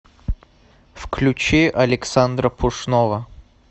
включи александра пушного